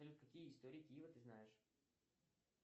салют какие истории киева ты знаешь